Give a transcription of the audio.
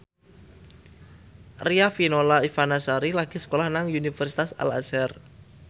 Riafinola Ifani Sari lagi sekolah nang Universitas Al Azhar